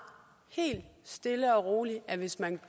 helt stille og roligt at hvis man